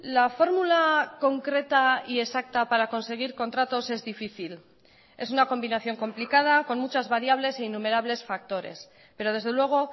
la fórmula concreta y exacta para conseguir contratos es difícil es una combinación complicada con muchas variables e innumerables factores pero desde luego